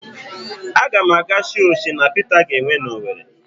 Aga m aga show Shina Pita ga-enwe n'Owere.